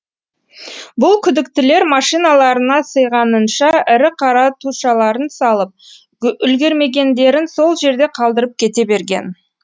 бұл күдіктілер машиналарына сыйғанынша ірі қара тушаларын салып үлгермегендерін сол жерде қалдырып кете берген